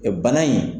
bana in